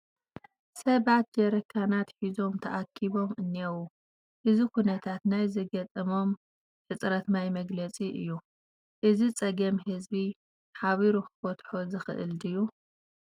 ሰባት ጀሪካናት ሒዞም ተኣኪቦም እኔዉ፡፡ እዚ ኩነታት ናይ ዝገጠሞም ሕፅረት ማይ መግለፂ እዩ፡፡ እዚ ፀገም ህዝቢ ሓቢሩ ክፈትሖ ዘይኽእል ድዩ?